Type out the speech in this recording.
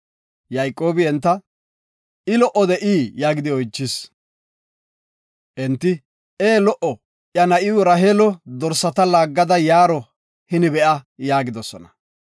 Yayqoobi enta, “I lo77o de7ii?” yaagidi oychis. “Ee, lo77o, iya na7iw Raheelo dorsata laaggada yaaro hini be7a” yaagidosona.